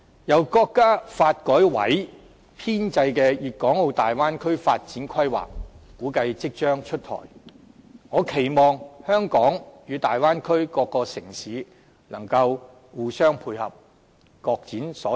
由國家發展和改革委員會編製的《粵港澳大灣區發展規劃》估計即將出台，我期望香港與大灣區各個城市能互相配合、各展所長。